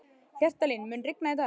Hjaltalín, mun rigna í dag?